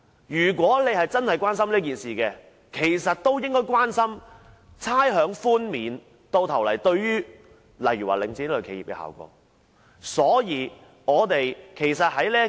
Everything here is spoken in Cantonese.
如果議員真的關注涉及領展的事宜，其實也應關注差餉寬免最終對領展等企業造成的效果。